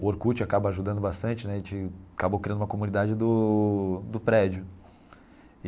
O Orkut acaba ajudando bastante né a gente acabou criando uma comunidade do do prédio.